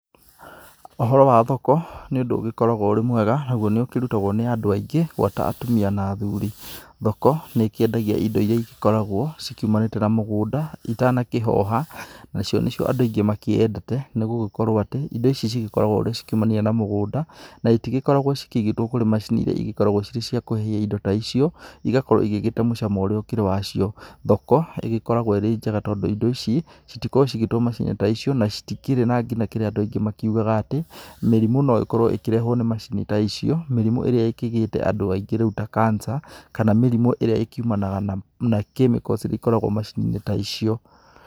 Ũhoro wa thoko nĩ ũndũ ũgĩkoragwo wĩ mwega, naguo nĩ ũkĩrutagwo nĩ andũ aingĩ gwata atumĩa na athuri. Thoko nĩ ikĩendagia indo iria ĩgĩkoragwo cikiumanĩte na mũgũnda itanakĩhoha nacio nĩ cio andũ aingĩ makĩendete nĩgũgĩkorwo atĩ indo ici cigĩkoragwo cikiumania na mũgũnda na ĩtĩgĩkoragwo cikĩĩgĩtwo kũrĩ macini iria ci gĩkoragwo cirĩ cia kũhehia indo ta icio, ĩgakorwo igĩgĩte mũcamo ũrĩa ũkĩrĩ wacio. Thoko nĩ ĩgakorwo ĩrĩ njega tondũ indo ici citikoragwo cigĩtwo macini-inĩ ta icio na itikĩrĩ ngina kĩrĩa andũ aingĩ makiugaga atĩ mĩrimũ no ĩkorwo ĩkĩrehwo nĩ macini ta icio mĩrimũ ĩria ĩkĩgĩte andũ aingĩ rĩu ta cancer kana mĩrimũ ĩria ĩkiumanaga na chemicals iria ikoragwo ciumanĩte na macini icio.